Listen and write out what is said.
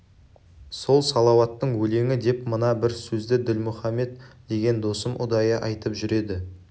сол салауаттың өлеңі деп мына бір сөзді ділмұхаммед деген досым ұдайы айтып жүреді